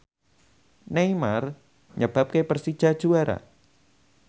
Neymar nyebabke Persija juara